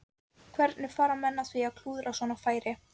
Hvernig fara menn að því að klúðra svona færi?